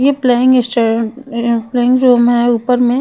ये playing uh uh playing room है ऊपरमे--